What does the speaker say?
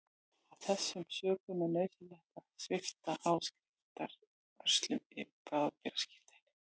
Af þessum sökum er nauðsynlegt að svipta áskrifanda vörslum yfir bráðabirgðaskírteininu.